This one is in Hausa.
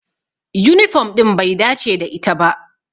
Yunifom ɗin bai dace da ita ba.